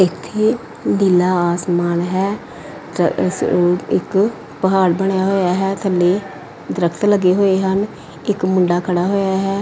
ਇੱਥੇ ਡੀਲਾ ਆਸਮਾਨ ਹੈ ਤ ਸ ਇੱਕ ਪਹਾੜ ਬਣਿਆ ਹੋਇਆ ਹੈ ਥੱਲੇ ਦਰਖਤ ਲੱਗੇ ਹੋਏ ਹਨ। ਇੱਕ ਮੁੰਡਾ ਖੜਾ ਹੋਇਆ ਹੈ।